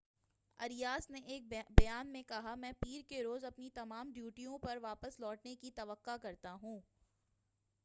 Arias نے ایک بیان میں کہا میں پیر کے روز اپنی تمام ڈیوٹیوں پر واپس لوٹنے کی توقع کرتا ہوں ۔